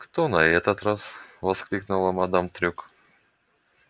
кто на этот раз воскликнула мадам трюк